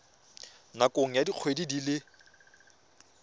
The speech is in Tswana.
nakong ya dikgwedi di le